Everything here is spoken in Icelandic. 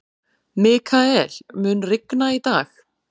Mikael, mun rigna í dag?